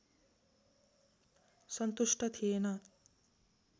सन्तुष्ट थिएन